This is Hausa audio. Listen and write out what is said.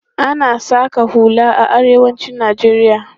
Ana saƙan hula a arewacin Najeriya.